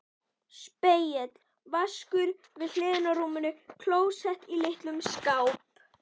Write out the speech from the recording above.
Spegill, vaskur við hliðina á rúminu, klósett í litlum skáp.